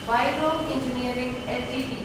Varroc engineering Ltd